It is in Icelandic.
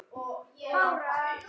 Er hann enn á lífi?